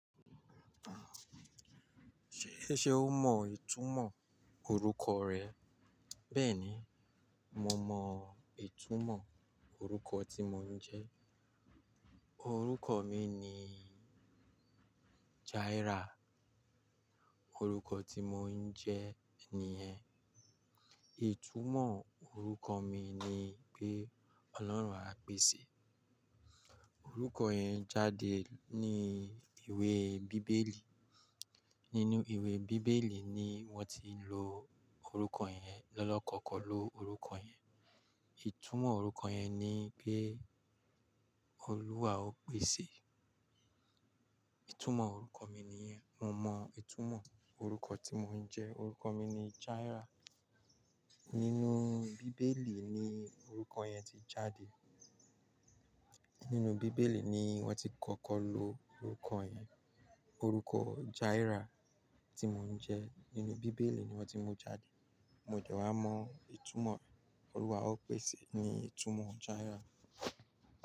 Ṣé, ṣe ó mọ ìtumọ̀ orúkọ rẹ̀? Bẹ́ẹ̀ni, mo mọ ìtumọ̀ orúkọ tí mo ń jẹ́. Orúkọ mi ni Jaira, orúkọ tí mo ń jẹ́ nìyẹn. Ìtumọ̀ orúkọ mi ni pé Ọlọ́run á pèsè. Orúkọ yẹn jáde ní ìwé bíbélì. Nínú ìwé bíbélì ni wọ́n ti lo orúkọ yẹn, lọ́lọ́kọ́ kọ ló orúkọ yẹn. Ìtumọ̀ orúkọ yẹn ni pé Olúwa ó pèsè. Ìtumọ̀ orúkọ mi nìyẹn. Mo mọ ìtumọ̀ orúkọ tí mo ń jẹ́. Orúkọ mi ni Jaira. Nínú bíbélì ni orúkọ yẹn ti jáde. Nínú bíbélì ni wọ́n ti kọ́kọ́ lo orúkọ yẹn. Orúkọ Jaira tí mo ń jẹ́ nínú bíbélì ni wọ́n ti mú jáde. Mo dẹ wá mọ ìtumọ̀ Olúwa ó pèsè ni ìtumọ̀ Jaira.